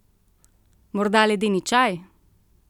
Morda ledeni čaj?